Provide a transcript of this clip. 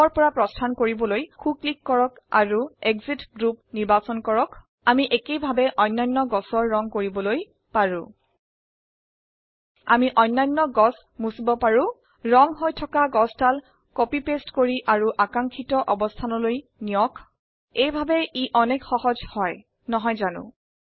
গ্ৰুপৰ পৰা প্ৰস্থান কৰিবলৈ সো ক্লিক কৰক আৰু এক্সিট গ্ৰুপ নিৰ্বাচন কৰক আমি একেই ভাবে অন্যান্য গছৰ ৰঙ কৰিবলৈ পাৰো আমি অন্যান্য গছ মুছিব পাৰো ৰঙ হৈ থকা গছদাল কপি পেস্ট কৰি আৰু আকাঙ্ক্ষিত অবস্থানলৈ নিয়ক এই ভাবে ই অনেক সহজ হয় নহয় জানো